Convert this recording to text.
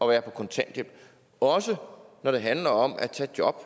være på kontanthjælp også når det handler om at tage job